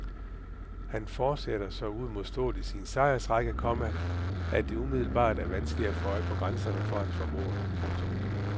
Han fortsætter så uimodståeligt sin sejrsrække, komma at det umiddelbart er vanskeligt at få øje på grænserne for hans formåen. punktum